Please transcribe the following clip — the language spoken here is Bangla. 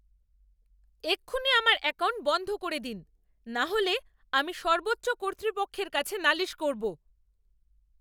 এক্ষুণি আমার অ্যাকাউন্ট বন্ধ করে দিন, নাহলে আমি সর্বোচ্চ কর্তৃপক্ষের কাছে নালিশ করবো।